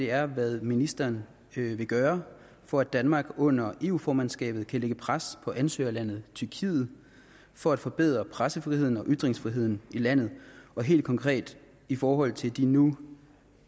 er hvad ministeren vil gøre for at danmark under eu formandskabet kan lægge pres på ansøgerlandet tyrkiet for at forbedre pressefriheden og ytringsfriheden i landet og helt konkret i forhold til de nu